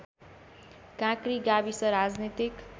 काँक्री गाविस राजनीतिक